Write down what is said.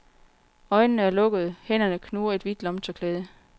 Øjnene er lukkede, hænderne knuger et hvidt lommetørklæde.